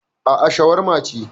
Aa, shawarma ce